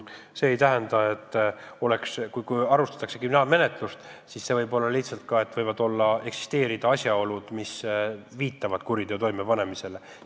Aga iseenesest on nii, et kriminaalmenetlust alustatakse siis, kui ilmnevad asjaolud, mis viitavad kuriteo toimepanemisele.